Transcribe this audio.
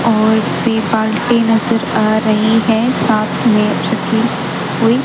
और सिपाल्टी नजर आ रही है साथ में उसकी कोई--